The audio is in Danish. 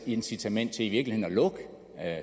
incitament til i virkeligheden at lukke